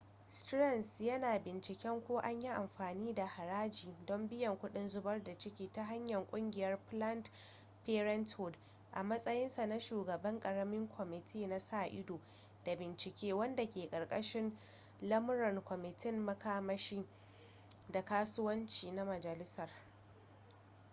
stearns yana binciken ko an yi amfani da haraji don biyan kuɗin zubar da ciki ta hanyar ƙungiyar planned parenthood a matsayinsa na shugaban ƙaramin kwamiti na sa-ido da bincike wanda ke karkashin lamuran kwamitin makamashi da kasuwanci na majalisar